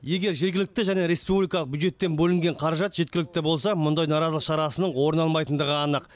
егер жергілікті және республикалық бюджеттен бөлінген қаражат жеткілікті болса мұндай наразылық шарасының орын алмайтындығы анық